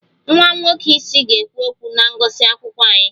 Nwa nwoke isi ga-ekwu okwu na ngụsị akwụkwọ anyị